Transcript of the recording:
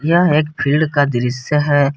यह एक फील्ड का दृश्य है।